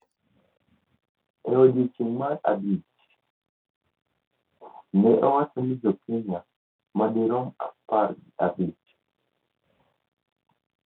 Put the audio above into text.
E odiechieng’ mar adek, ne owacho ni jo Kenya madirom apar gi abich